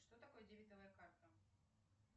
что такое дебетовая карта